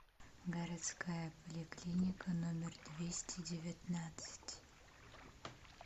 городская поликлиника номер двести девятнадцать